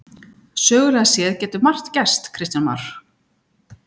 Sögulega séð getur margt gerst Kristján Már?